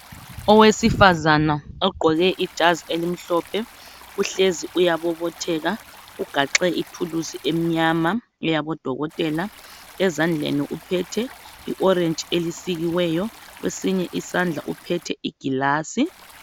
Owesifazane ugqoke ijazi elimhlophe uhlezi uyabobotheka ugaxe itools elimnyama elabodokotela uphethe iorange elisikiweyo kwesinye isandla uphethe iglass